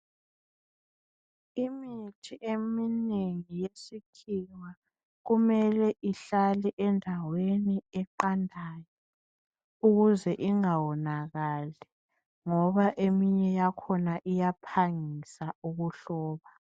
imithi eminengi yesikhiwa kumele ihlale endaweni eqandayo ukuze ingawonakali ngoba eminye yakhona iyaphangisa ukuhloba